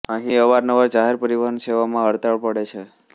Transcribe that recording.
અહીં અવારનવાર જાહેર પરિવહન સેવામાં હડતાળ પડે છે